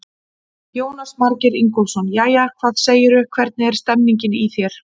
Jónas Margeir Ingólfsson: Jæja, hvað segirðu, hvernig er stemmingin í þér?